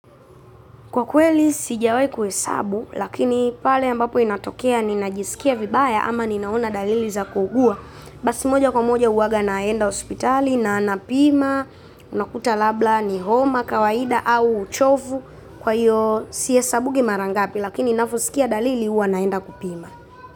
Kwa kweli sijawai kuhesabu, lakini pale ambapo inatokea ninajisikia vibaya ama ninaona dalili za kuugua. Basi moja kwa moja uwaga naenda hospitali na napima, unakuta labda ni homa, kawaida au uchovu kwa hiyo sihesabugi mara ngapi lakini navosikia dalili uwa naenda kupima.